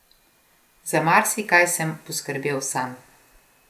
Za marsikaj sem poskrbel sam.